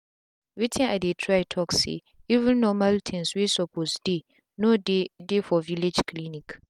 wetin i dey try talk say even normal things wey suppose deyno dey dey for village clinic